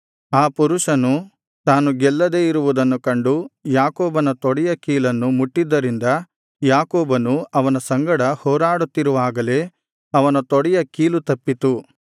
ಆ ಪುರುಷನು ತಾನು ಗೆಲ್ಲದೆ ಇರುವುದನ್ನು ಕಂಡು ಯಾಕೋಬನ ತೊಡೆಯ ಕೀಲನ್ನು ಮುಟ್ಟಿದ್ದರಿಂದ ಯಾಕೋಬನು ಅವನ ಸಂಗಡ ಹೋರಾಡುತ್ತಿರುವಾಗಲೇ ಅವನ ತೊಡೆಯ ಕೀಲು ತಪ್ಪಿತು